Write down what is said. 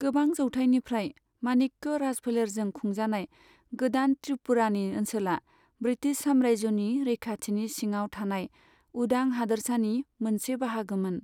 गोबां जौथायनिफ्राय माणिक्य राजफोलेरजों खुंजानाय गोदान त्रिपुरानि ओनसोला ब्रिटिश सामरायजोनि रैखाथिनि सिङाव थानाय उदां हादोरसानि मोनसे बाहागोमोन।